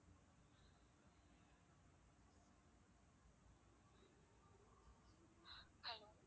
hello